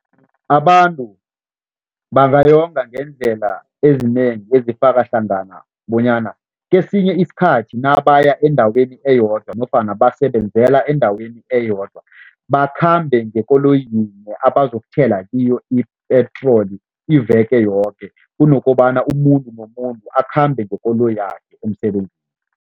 Abantu bangayonga ngeendlela ezinengi ezifaka hlangana bonyana kesinye isikhathi nabaya endaweni eyodwa nofana basebenzela endaweni eyodwa, bakhambe ngekoloyi yinye abazokuthela kiyo i-petrol iveke yoke kunokobana umuntu nomuntu akhambe ngekoloyakhe emsebenzini.